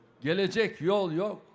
Gələcək yol yox.